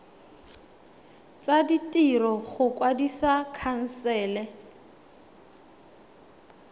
tsa ditiro go kwadisa khansele